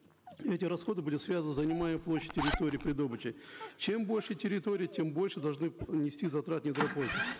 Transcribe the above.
эти расходы были связаны с занимаемой площадью территории при добыче чем больше территория тем больше должны нести затраты недропользователи